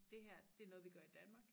Dét her det noget vi gør i Danmark